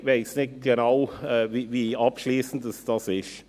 Ich weiss nicht genau, wie abschliessend dies ist.